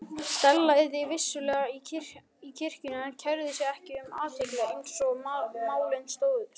Stella yrði vissulega í kirkjunni en kærði sig ekki um athygli eins og málin stóðu.